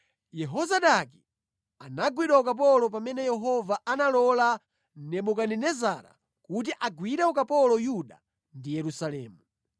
Yehozadaki anagwidwa ukapolo pamene Yehova analola Nebukadinezara kuti agwire ukapolo Yuda ndi Yerusalemu.